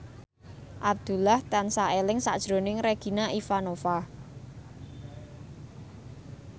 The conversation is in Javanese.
Abdullah tansah eling sakjroning Regina Ivanova